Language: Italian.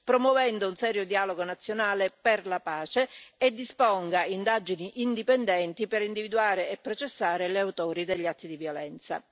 promuovendo un serio dialogo nazionale per la pace e disponga indagini indipendenti per individuare e processare gli autori degli atti di violenza.